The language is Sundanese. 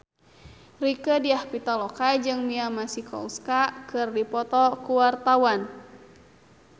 Rieke Diah Pitaloka jeung Mia Masikowska keur dipoto ku wartawan